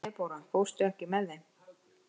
Debóra, ekki fórstu með þeim?